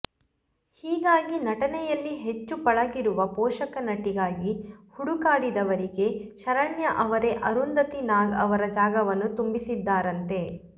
ಹೀಗಾಗಿ ನಟನೆಯಲ್ಲಿ ಹೆಚ್ಚು ಪಳಗಿರುವ ಪೋಷಕ ನಟಿಗಾಗಿ ಹುಡುಕಾಡಿದವರಿಗೆ ಶರಣ್ಯ ಅವರೇ ಅರುಂಧತಿ ನಾಗ್ ಅವರ ಜಾಗವನ್ನು ತುಂಬಿಸಿದ್ದಾರಂತೆ